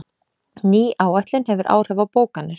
Ný áætlun hefur áhrif á bókanir